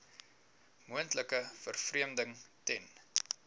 moontlike vervreemding ten